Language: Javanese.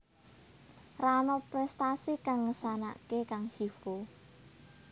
Ra ana prestasi kang ngesanake kang Chievo